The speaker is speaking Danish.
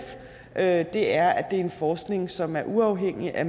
at det er en forskning som er uafhængig af